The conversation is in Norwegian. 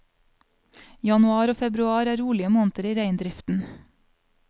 Januar og februar er rolige måneder i reindriften.